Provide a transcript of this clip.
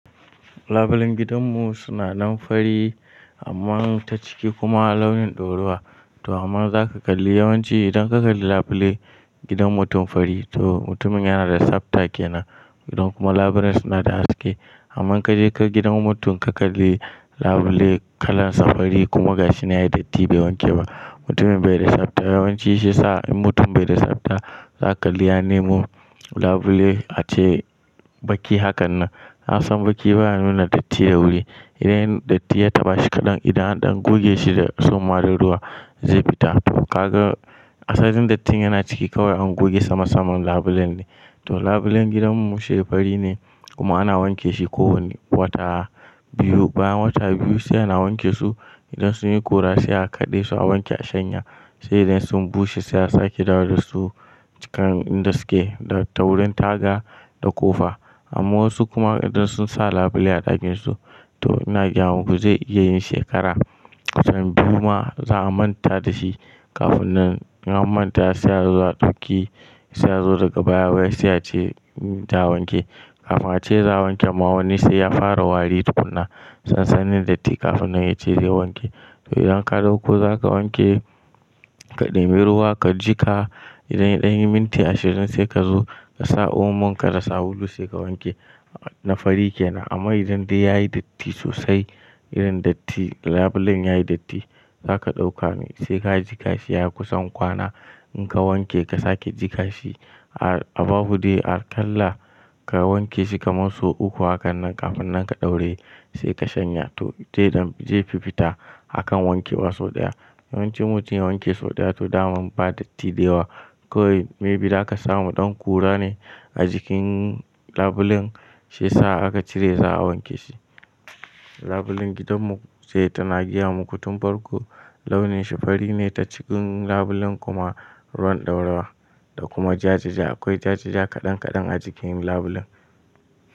Labulen gidanmu suna nan fari amma ta ciki kuma launin ɗorawa. To amma zaka kalli yawanci idan ka kalli labule gidan mutum fari to mutumin yana da tsafta kenan. Idan kuma labulen suna da haske. Amma ka je ka ga gidan mutum ka kalli labule kalan sa fari kuma gashi yana da datti bai wanke ba, mutumin bai da tsafta. Yawanci shi yasa in mutum bai da tsafta zaka iya neman labule ace baki. Haka nan, nasan baki baya nuna datti da wuri. Idan datti ya taɓa shi kaɗan idan an goge shi da tsumma da ruwa zai fita. To kaga asalin dattin yana ciki kawai an goge sama saman labulen ne. To labulen gidanmu shi fari ne kuma ana wanke shi kowane wata biyu. Bayan wata biyu sai ana wanke su idan sun yi kura sai a kaɗe su a wanke a shanya. Sai idan sun bushe sai a sake dawo da su cikin inda suke da ta wurin taga da ƙofa. Amma wasu kuma idan sun sa labule a ɗakinsu to ina gaya muku zai iya yin shekara. Kusan biyu ma, za a manta da shi kafin nan. In an manta sai ya zo a ɗauki, sai ya zo daga baya wai sai ya ce za a wanke. Kafin ace za a wanken ma wani sai ya fara wari tukuna sansanin datti kafin yace zai wanke. To idan ka dauko za ka wanke, ka ɗibi ruwa ka jiƙa. Idan ya ɗan minti ashirin sai ka zo ka sa omon ka da sabulu sai ka wanke, na fari kenan. Amma idan dai yayi datti sosai, irin datti labulen yayi datti za ka ɗauka ne sai ka jiƙa shi a kusan kwana. In ka wanke ka sake jiƙa shi a babu dai akalla ka wanke shi kamar sau uku hakanan kafin nan ka ɗauraye sai ka shanya. To zai dan, ze fi fita a kan wankewa sau ɗaya. Yawanci mutum ya wanke sau ɗaya to dama ba datti da yawa. Kowai maybe za ka samu ɗan kura ne a jikin labulen shi yasa aka cire za a wanke shi. Labulen gidanmu sai tana gaya muku tun farko launin shi fari ne ta cikin labulen kuma ruwan ɗoruwa da kuma jajaja. Akwai jajaja kaɗan kaɗan a jikin labulen.